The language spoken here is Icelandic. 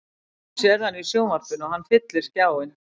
Þú sérð hann í sjónvarpinu og hann fyllir skjáinn.